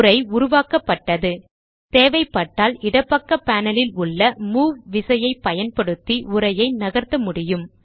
உரை உருவாக்கப்பட்டது தேவைப்பட்டால் இடப்பக்க பேனல் ல் உள்ள மூவ் விசையைப் பயன்படுத்தி உரையை நகர்த்த முடியும்